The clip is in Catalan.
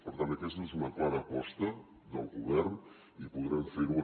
per tant aquesta és una clara aposta del govern i podrem fer ho